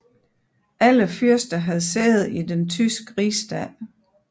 Alle fyrster havde sæde i den tyske rigsdag